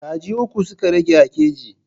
Kaji uku suka rage a keji.